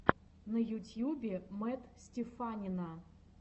на ютьюбе мэтт стеффанина